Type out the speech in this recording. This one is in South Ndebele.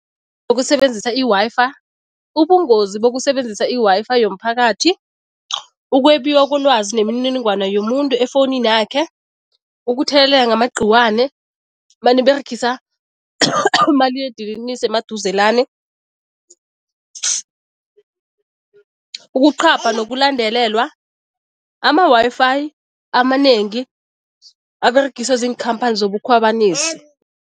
Ngokusebenzisa i-Wi-Fi, ubungozi bokusebenzisa i-Wi-Fi yomphakathi, ukwebiwa kolwazi nemininingwana yomuntu efowuninakhe, ukuthelelela ngamagqiwane maniberegisa umaliledinini nisemaduzelane, ukuqhapha nokulandelelwa. Ama-Wi-Fi amanengi aberegiswa ziinkhamphani zobukhwabanisi.